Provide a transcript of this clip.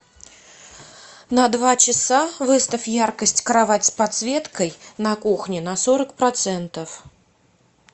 на два часа выставь яркость кровать с подсветкой на кухне на сорок процентов